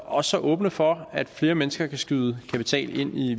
også åbne for at flere mennesker kan skyde kapital ind i